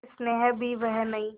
और स्नेह भी वह नहीं